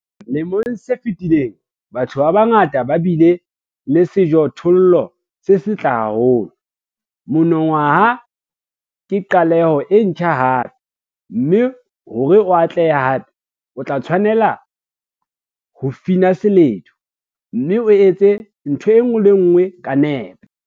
Lemong se fetileng, batho ba bangata ba bile le sejothollo se setle haholo - monongwaha ke qaleho e ntjha hape, mme hore o atlehe hape, o tla tshwanela ho fina seledu, mme o etse ntho e nngwe le e nngwe ka nepo.